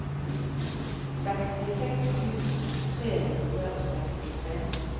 sekstiseks tusen tre hundre og sekstitre